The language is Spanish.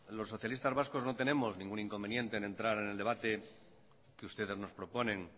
los socialistas vascos no tenemos ningún inconveniente en entrar en el debate que ustedes nos proponen